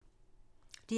DR2